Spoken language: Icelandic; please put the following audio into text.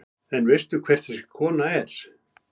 En veistu hver þessi kona er?